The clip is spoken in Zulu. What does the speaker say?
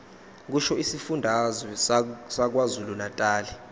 kusho isifundazwe sakwazulunatali